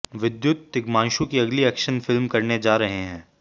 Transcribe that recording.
विद्युत तिग्मांशु की अगली ऐक्शन फिल्म करने जा रहे हैं